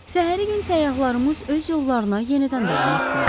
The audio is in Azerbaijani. Səhəri gün səyyahlarımız öz yollarına yenidən davam etdilər.